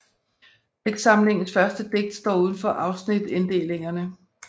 Digtsamlingens første digt står udenfor afsnitinddelingerne